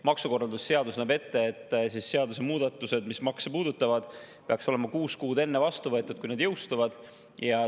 Maksukorralduse seadus näeb ette, et seadusemuudatused, mis makse puudutavad, peaks olema vastu võetud kuus kuud enne, kui need jõustuvad.